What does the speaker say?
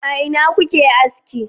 a ina kuke aski